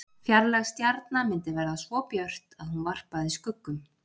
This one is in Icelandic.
Fjarlæg stjarna myndi verða svo björt að hún varpaði skuggum.